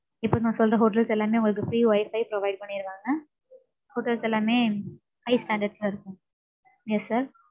இப்ப நான் சொல்ற hotels எல்லாமே, உங்களுக்கு free wifi provide பண்ணிருவாங்க. Hotels எல்லாமே high standards ல இருக்கும். yes sir